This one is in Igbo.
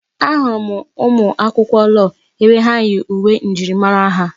Ahụrụ m ụmụ akwụkwọ lọọ ebe ha yi uwe njirimara ha.